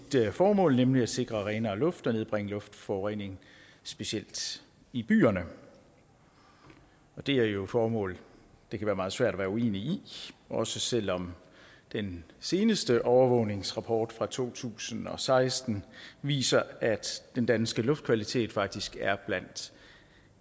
formål nemlig at sikre renere luft og nedbringe luftforureningen specielt i byerne og det er jo et formål det kan være meget svært at være uenig i også selv om den seneste overvågningsrapport fra to tusind og seksten viser at den danske luftkvalitet faktisk er blandt